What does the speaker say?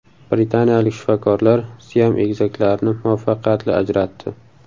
Britaniyalik shifokorlar siam egizaklarini muvaffaqiyatli ajratdi.